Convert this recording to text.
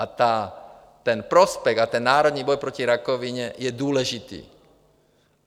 A ten prospekt a ten národní boj proti rakovině je důležitý.